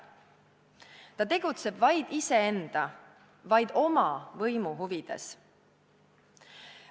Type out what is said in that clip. Ta tegutseb vaid iseenda, vaid oma võimu huvides.